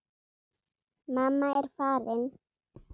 Mamma er farin.